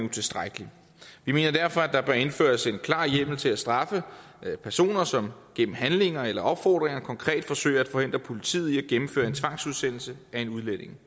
utilstrækkelige vi mener derfor der bør indføres en klar hjemmel til at straffe personer som gennem handlinger eller opfordringer konkret forsøger at forhindre politiet i at gennemføre en tvangsudsendelse at en udlænding